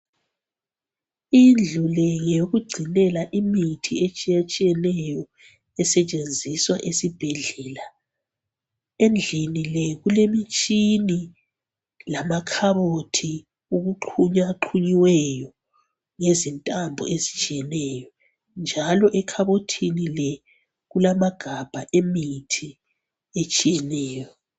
Indlu le ngeyokugcinela imithi etshiyatshiyeneyo esetshenziswa esibhedlela. Endlini le kulemitshina lamakhabothi okuxhunyaxhunyiweyo ngezintambo ezitshiyeneyo njalo ekhabothini le kulamagabha emithi etshiyeneyo